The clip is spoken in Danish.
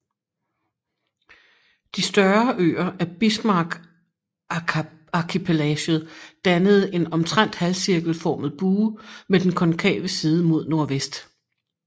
De større øer af Bismarckarkipelaget dannede en omtrent halvcirkelformet bue med den konkave side mod nordvest